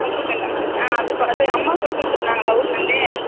உப்புக்கண்டம் ஆஹா அது அம்மா குத்துவிட்டுருந்தான்களா ஊர்ல இருந்து